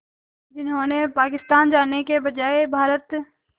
जिन्होंने पाकिस्तान जाने के बजाय भारत